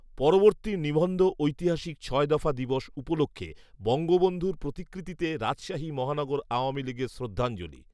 পরবর্তী নিবন্ধঐতিহাসিক ছয় দফা দিবস উপলক্ষ্যে বঙ্গবন্ধুর প্রতিকৃতিতে রাজশাহী মহানগর আওয়ামী লীগের শ্রদ্ধাঞ্জলি